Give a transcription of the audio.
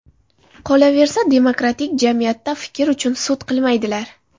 Qolaversa, demokratik jamiyatda fikr uchun sud qilmaydilar.